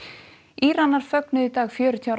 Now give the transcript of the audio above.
Íranar fögnuðu í dag fjörutíu ára